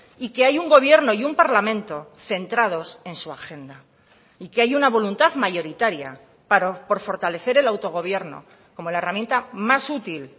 y que hay un gobierno y un parlamento centrados en su agenda y que hay una voluntad mayoritaria por fortalecer el autogobierno como la herramienta más útil